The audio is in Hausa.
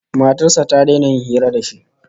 Matar sa ta daina yin hira da shi